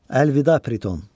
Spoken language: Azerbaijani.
Əlvida Priton.